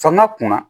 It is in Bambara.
Fanga kunna